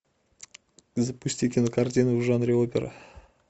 запусти кинокартину в жанре опера